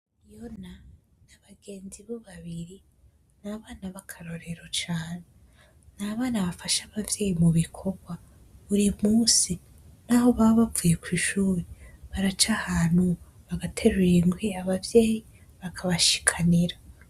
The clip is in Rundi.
Fiona n'abagenzi bo babiri ni abana bakarorero cane, ni abana bafasha abavyeyi mu bikorwa buri munsi, naho baba bavuye kw'ishuri baraca ahantu bagaterura inkwi abavyeyi bakabashikanira.